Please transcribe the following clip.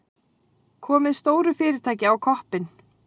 Komið stóru fyrirtæki á koppinn.